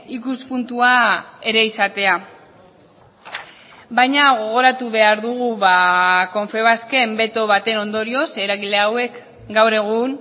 ikuspuntua ere izatea baina gogoratu behar dugu confebasken beto baten ondorioz eragile hauek gaur egun